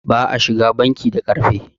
ba a shiga banki da ƙarfe